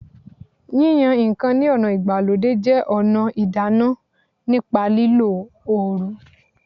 Yíyan ǹkan ní ọ̀nà ìgbàlódé jẹ́ ọ̀nà ìdáná nípa lílo oru